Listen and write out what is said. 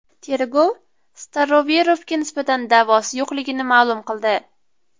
Tergov Staroverovga nisbatan da’vosi yo‘qligini ma’lum qildi.